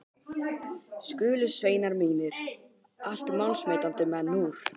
Skulu sveinar mínir, allt málsmetandi menn úr